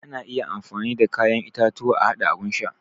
Ana iya amfani da kayan itatuwa a haɗa abun sha